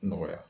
Nɔgɔya